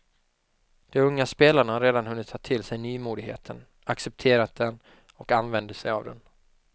De unga spelarna har redan hunnit ta till sig nymodigheten, accepterat den och använder sig av den.